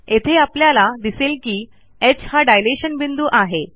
येथे आपल्याला दिसेल की ह हा डायलेशन बिंदू आहे